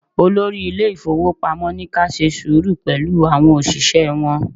Olórí ilé ifowopamo ní ka ṣe sùúrù pẹ̀lú àwọn òṣìṣẹ́ wọn.